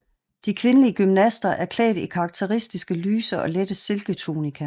De kvindelige gymnaster er klædt i karakteristiske lyse og lette silketunikaer